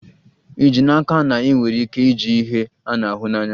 Ì ji n'aka na ị nwere ike iji ihe a na-ahụ anya?